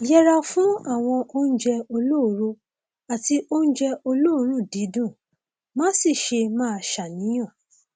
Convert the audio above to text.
yẹra fún àwọn oúnjẹ olóró àti oúnjẹ olóòórùn dídùn má sì ṣe máa ṣàníyàn